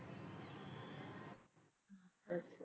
ਅੱਛਾ।